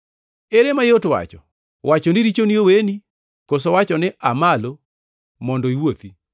Ere mayot wacho, wacho ni, ‘Richoni oweni,’ koso wacho ni, ‘Aa malo mondo iwuothi?’